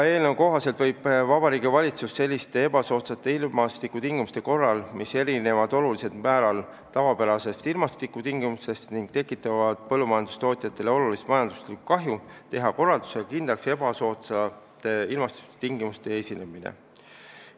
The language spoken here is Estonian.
Eelnõu kohaselt võib Vabariigi Valitsus selliste ebasoodsate ilmastikutingimuste korral, mis erinevad olulisel määral tavapärastest ilmastikutingimustest ning tekitavad põllumajandustootjatele olulist majanduslikku kahju, teha korraldusega kindlaks ebasoodsate ilmastikutingimuste esinemine.